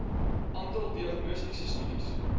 aantal diagnostiese studies